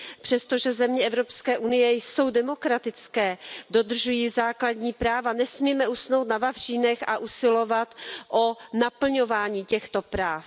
Přestože země Evropské unie jsou demokratické, dodržují základní práva, nesmíme usnout na vavřínech a usilovat o naplňování těchto práv.